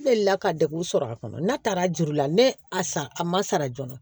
Ne deli la ka degun sɔrɔ a kɔnɔ n'a taara juru la ne a san a ma sara joona